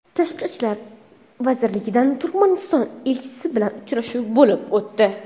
Tashqi ishlar vazirligida Turkmaniston elchisi bilan uchrashuv bo‘lib o‘tdi.